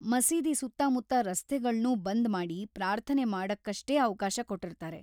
ಮಸೀದಿ ಸುತ್ತಮುತ್ತ ರಸ್ತೆಗಳ್ನೂ ಬಂದ್‌ ಮಾಡಿ ಪಾರ್ಥನೆ ಮಾಡಕ್ಕಷ್ಟೇ ಅವ್ಕಾಶ ಕೊಟ್ಟಿರ್ತಾರೆ.